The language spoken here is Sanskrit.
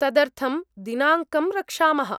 तदर्थं दिनाङ्कं रक्षामः।